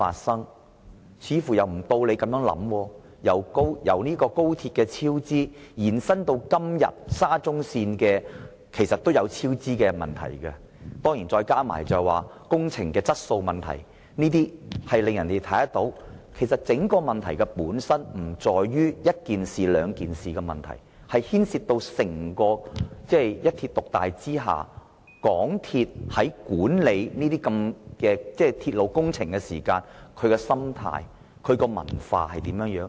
先有高鐵超支，後來延伸到現在的沙中線超支及工程質素等問題。整個問題本身不在於一兩件事件，而是牽涉到一鐵獨大之下，香港鐵路有限公司管理鐵路工程的心態和文化。